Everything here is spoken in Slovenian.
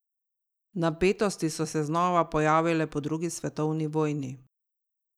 Napetosti so se znova pojavile po drugi svetovni vojni.